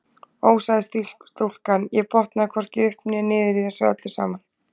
Ó sagði stúlkan, ég botna hvorki upp né niður í þessu öllu saman